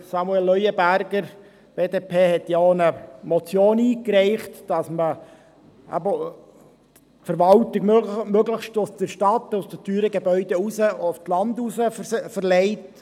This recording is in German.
Samuel Leuenberger von der BDP hat ja auch eine Motion eingereicht, die verlangt, dass die Verwaltung möglichst aus den teuren Gebäuden in der Stadt aufs Land raus verlegt wird.